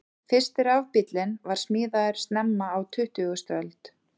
Fyrsti rafbíllinn var smíðaður snemma á tuttugustu öld.